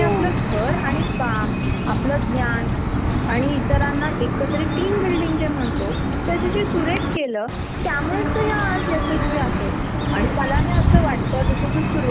का तर ते पाहिजे तेव्हा त्यांची सॅलरी घेऊन जाऊ शकतात. आणि त्यांच्याकडे त्याच्या घरी वातावरण अस असत की हा मी परदेशात चाललोय न्यू प्रोजेक्ट साठी ती आखी फॅमिली जे काही आहे नही हातात टाकून हातातला टाकून लगेच निघते.